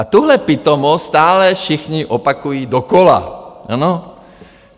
A tuhle pitomost stále všichni opakují dokola.